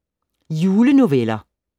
Julenoveller